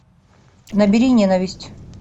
набери ненависть